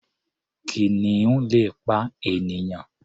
Kìnìun le pa ènìyàn.